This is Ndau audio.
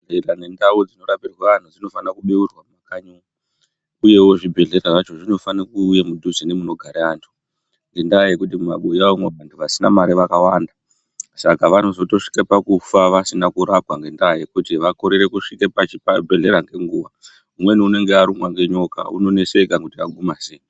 Ndau dzinorapa vantu dzinofanira kubeurwa mumakanyi umwo, uyewo zvibhehlera zvacho zvinofanira kuuya mudhuze nemunogare antu, ngendaa yekuti mumabuya umwo vasina mare vakawanda ,saka vanozotosvike pakufa vasina kurapwa ngendaa yekuti vakorere kusvika pachibhehlera ngenguwa, umweni unonga arumwa ngenyoka unoneseka kuti oguma sei.